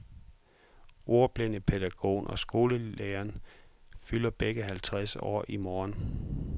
Ordblindepædagogen og skolelederen fylder begge halvtreds år i morgen.